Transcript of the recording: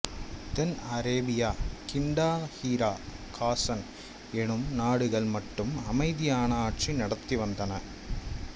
தென் Arabia கிண்டாஹீரா காசன் என்னும் நாடுகள் மட்டும் அமைதியான ஆட்சி நடத்தி வந்தன